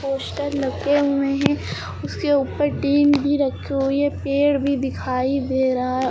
poster लगे हुए हैं उसके ऊपर टीन भी रखी हुई है पेड़ भी दिखाई दे रहा है ओर--